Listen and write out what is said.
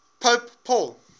pope paul